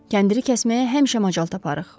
Kəndiri kəsməyə həmişə macal taparıq.